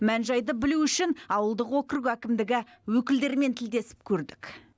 мән жайды білу үшін ауылдық округ әкімдігі өкілдерімен тілдесіп көрдік